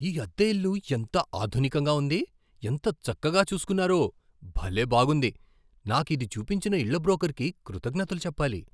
ఈ అద్దె ఇల్లు ఎంత ఆధునికంగా ఉంది, ఎంత చక్కగా చూస్కున్నారో, భలే బాగుంది! నాకు ఇది చూపించిన ఇళ్ళ బ్రోకర్కి కృతజ్ఞతలు చెప్పాలి.